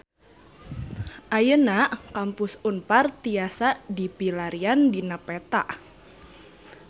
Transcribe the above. Ayeuna Kampus Unpar tiasa dipilarian dina peta